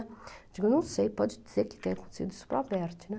Eu digo, não sei, pode ser que tenha acontecido isso para a Berti, né?